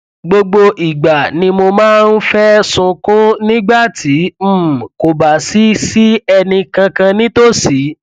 gbogbo ìgbà ni mo máa ń fẹ sunkún nígbà tí um kò bá sí sí ẹnì kankan nítòsí